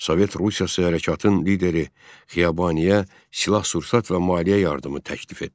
Sovet Rusiyası hərəkatın lideri Xiyabaniyə silah-sursat və maliyyə yardımı təklif etdi.